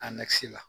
la